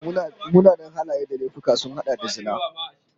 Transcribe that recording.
Munanan halaye da laifuka sun hada da zina